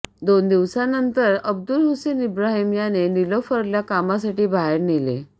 दोन दिवसांनंतर अब्दुलहुसेन इब्राहिम याने निलोफरला कामासाठी बाहेर नेले